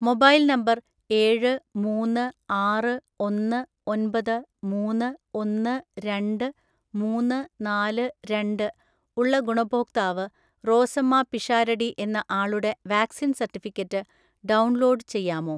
Mobile number ഏഴ് മൂന്ന് ആറ് ഒന്ന് ഒൻപത് മൂന്ന് ഒന്ന് രണ്ട് മൂന്ന് നാല് രണ്ട്, ഉള്ള ഗുണഭോക്താവ് റോസമ്മ പിഷാരടി എന്ന ആളുടെ വാക്‌സിൻ സർട്ടിഫിക്കറ്റ് ഡൗൺലോഡ് ചെയ്യാമോ?